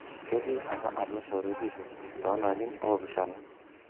ketii apa atua shorwetisho too larin opishana.